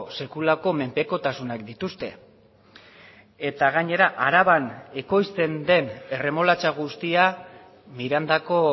sekulako menpekotasunak dituzte eta gainera araban ekoizten den erremolatxa guztia mirandako